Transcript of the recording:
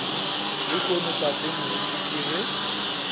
lehono tate moruti ke ge